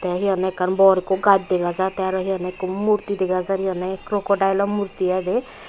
the he honne ekkan bor ekku gaj dega jar the aro he honne ekku murti dega jar he honne crocodile o murti iy de.